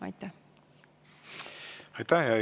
Aitäh!